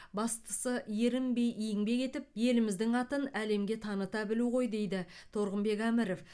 бастысы ерінбей еңбек етіп еліміздің атын әлемге таныта білу ғой дейді торғынбек әміров